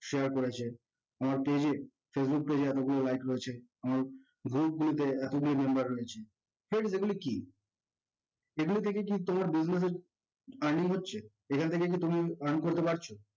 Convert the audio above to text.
share করেছে, আমার daily facebook page এ লাইক রয়েছে group গুলুতে এতগুলা member রয়েছে friends এগুলো কি, এগুলো থেকে কি তোমাদের daily earning হচ্ছে এখান থেকে কি তুমি earn করতে পারছো